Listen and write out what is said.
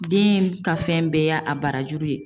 Den ka fɛn bɛɛ y'a a barajuru ye